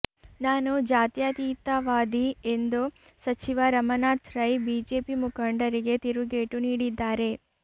ನಾನು ಜಾತ್ಯಾತೀತವಾದಿ ಎಂದು ಸಚಿವ ರಮಾನಾಥ್ ರೈ ಬಿಜೆಪಿ ಮುಖಂಡರಿಗೆ ತಿರುಗೇಟು ನೀಡಿದ್ದಾರೆ